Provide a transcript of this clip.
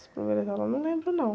As primeiras aulas eu não lembro, não.